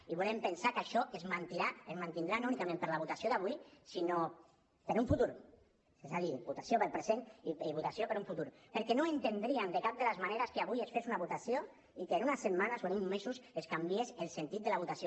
i volem pensar que això es mantindrà no únicament per la votació d’avui sinó per un futur és a dir votació pel present i votació per un futur perquè no entendríem de cap de les maneres que avui es fes una votació i que en unes setmanes o en uns mesos es canviés el sentit de la votació